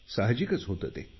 साहजिकच होतं ते